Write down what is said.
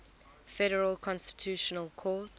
federal constitutional court